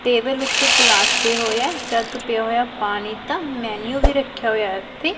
Table ਓੱਤੇ ਇੱਕ glass ਪਿਆ ਹੋਇਆ ਹੈ ਜੱਗ ਪਿਆ ਹੋਇਆ ਹੈ ਪਾਣੀ ਦਾ ਮੈਂਨਿਊ ਵੀ ਰੱਖਿਆ ਹੋਇਆ ਹੈ ਉੱਥੇ।